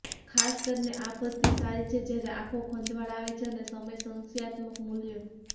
ખાસ કરીને આ પદ્ધતિ સારી છે જ્યારે આંખો ખંજવાળ આવે છે અને સમય સંશ્યાત્મક મૂલ્ય